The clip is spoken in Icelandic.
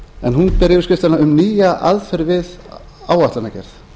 en hún ber yfirskriftina um nýja aðferð við áætlanagerð